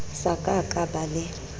sa ka ka ba le